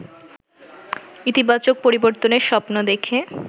ইতিবাচক পরিবর্তনের স্বপ্ন দেখে